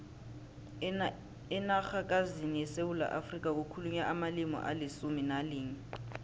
enarhakazini yesewula afrika kukhulunywa amalimi alisumu nalinye